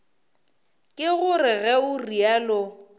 ke gore ge o realo